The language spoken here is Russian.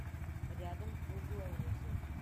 рядом круглое озеро